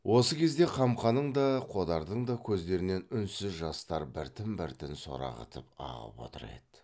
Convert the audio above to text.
осы кезде қамқаның да қодардың да көздерінен үнсіз жастар біртін біртін сорағытып ағып отыр еді